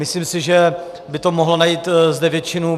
Myslím si, že by to mohlo najít zde většinu.